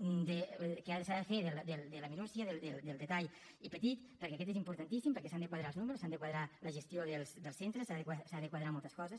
que ara s’ha de fer de la minúcia del detall i petit perquè aquest és importantíssim perquè s’han de quadrar els números s’ha de quadrar la gestió dels centres s’ha de quadrar moltes coses